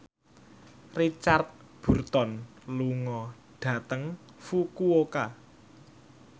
Richard Burton lunga dhateng Fukuoka